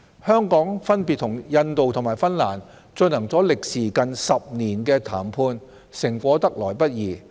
香港分別與印度和芬蘭進行了歷時近10年的談判，成果得來不易。